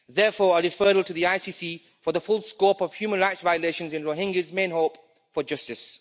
Therefore a referral to the ICC for the full scope of human rights violations is Rohingya's main hope for justice.